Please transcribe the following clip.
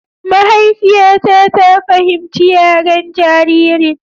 Mahaifiyata ta fahimci yaren jaririn.